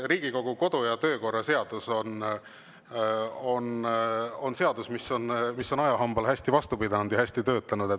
Riigikogu kodu- ja töökorra seadus on seadus, mis on ajahambale hästi vastu pidanud ja hästi töötanud.